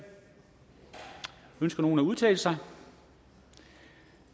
ønsker nogen at udtale sig